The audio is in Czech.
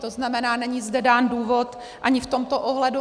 To znamená, není zde dán důvod ani v tomto ohledu.